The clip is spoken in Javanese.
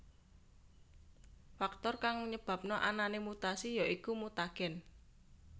Faktor kang nyebabna anané mutasi ya iku mutagen